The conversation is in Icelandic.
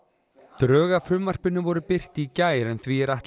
drög að frumvarpinu voru birt í gær en því er ætlað